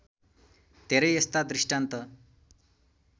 धेरै यस्ता दृष्टान्त